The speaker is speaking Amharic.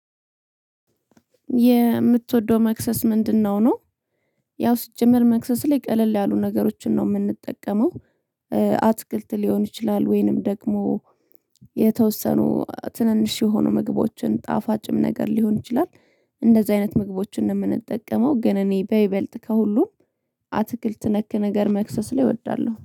የምትወደው መክሰስ ምንድነው ነው ያው ሲጀመር መክሰስ ላይ ቀለል ያሉ ነገሮችን ነው የምንጠቀመው አትክልት ሊሆን ይችላል ወይንም ደግሞ የተወሰኑ ትንንሽ የሆኑ ምግቦችን ጣፋጭም ነገር ሊሆን ይችላል እንደዚህ አይነት ምግቦችን ነው የምንጠቀመው ግን እኔ በይበልጥ ከሁሉም አትክልት ነክ ነገር መክሰስ ላይ እወዳለሁ።